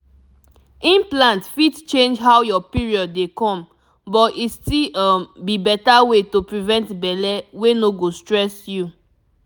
implant fit change how your period dey come but e still um be better way to prevent belle wey no go stress you